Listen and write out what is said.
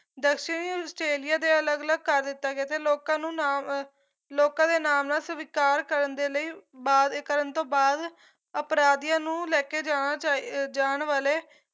ਦਕਸ਼ਣੀ Australia ਦੇ ਅਲੱਗ ਅਲੱਗ ਕਰ ਦਿੱਤਾ ਗਿਆ ਤੇ ਲੋਕਾਂ ਨੂੰ ਨਾਮ ਅਹ ਲੋਕਾਂ ਦੇ ਨਾਮ ਨਾਲ ਸਵੀਕਾਰ ਕਰਨ ਦੇ ਲਈ ਵਾਅਦੇ ਕਰਨ ਤੋਂ ਬਾਅਦ ਅਪਰਾਧੀਆ ਨੂੰ ਲੈਕੇ ਜਾਣਾ ਚਾਹੀ ਜਾਣ ਵਾਲੇ